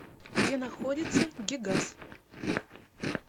где находится гигаз